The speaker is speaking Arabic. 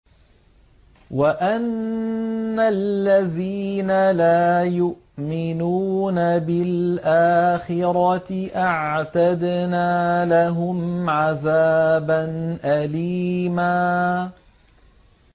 وَأَنَّ الَّذِينَ لَا يُؤْمِنُونَ بِالْآخِرَةِ أَعْتَدْنَا لَهُمْ عَذَابًا أَلِيمًا